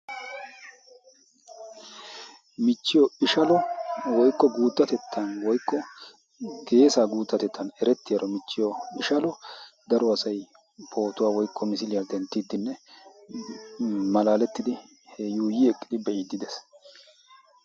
michchiyo ishalo woikko guuttatettan woikko geesa guuttatettan erettiyaaro michchiyo ishalo daro asai pootuwaa woikko misiiliyaa denttiiddinne malaalettidi yuuyi eqqidi be7iddi dees